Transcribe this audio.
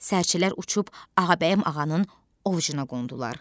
Sərçələr uçub Ağabəyim ağanın ovucuna qondular.